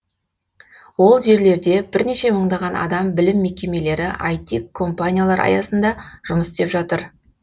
ол жерлерде бірнеше мыңдаған адам білім мекемелері іт компаниялар аясында жұмыс істеп жатыр